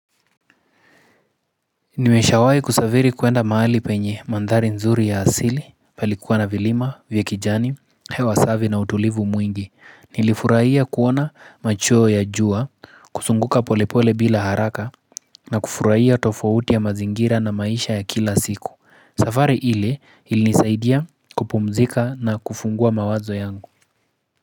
Nimeshawai kusaviri kuenda mahali penye mandhari nzuri ya asili palikuwa na vilima vya kijani hewa savi na utulivu mwingi nilifurahia kuona macheo ya jua kusunguka polepole bila haraka na kufurahia tofauti ya mazingira na maisha ya kila siku safari ile ilinisaidia kupumzika na kufungua mawazo yangu.